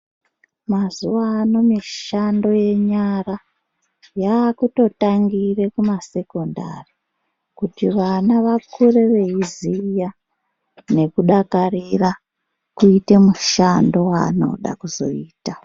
Mazuva ano mishando yenyara yakutotangire kumasekondari . Kuti vana vakure veiziya nekudakarira kuite mushando vanoda kuzoita.